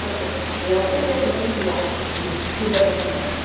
Porque eu, por exemplo, fui criada e super recomendada.